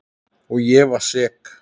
Og ég var sek.